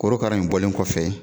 Korokara in bɔlen kɔfɛ.